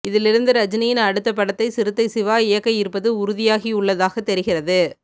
இதிலிருந்து ரஜினியின் அடுத்த படத்தை சிறுத்தை சிவா இயக்க இருப்பது உறுதியாகி உள்ளதாக தெரிகிறது